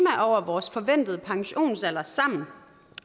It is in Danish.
over vores forventede pensionsalder sammen